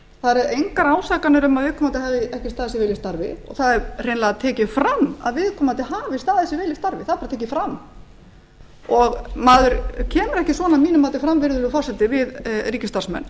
það eru engar ásakanir um að viðkomandi hafi ekki staðið sig vel í starfi og það er hreinlega tekið fram að viðkomandi hafi staðið sig vel í starfi það er bara tekið fram maður kemur að mínu mati ekki svona fram virðulegi forseti við ríkisstarfsmenn